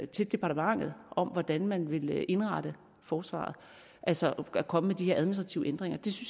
til departementet om hvordan man vil indrette forsvaret altså at komme med de her administrative ændringer